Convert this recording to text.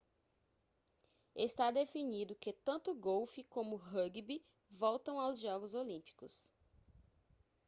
está definido que tanto golfe como rúgbi voltam aos jogos olímpicos